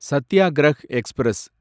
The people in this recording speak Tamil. சத்தியாகிரக் எக்ஸ்பிரஸ்